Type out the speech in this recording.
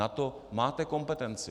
Na to máte kompetenci.